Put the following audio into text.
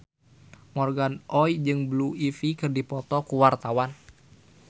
Morgan Oey jeung Blue Ivy keur dipoto ku wartawan